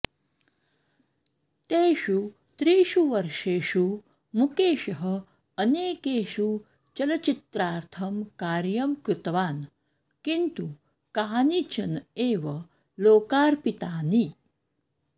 तेषु त्रिषुवर्षेषु मुकेशः अनेकेषु चलच्चित्रार्थं कार्यं कृतवान किन्तु कानिचन एव लोकार्पितानि